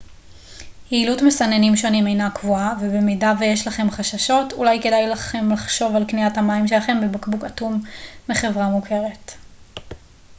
יעילות מסננים שונים אינה קבועה ובמידה ויש לכם חששות אולי כדאי לכם לחשוב על קניית המים שלכם בבקבוק אטום מחברה מוכרת